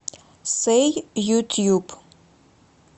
сэй ютьюб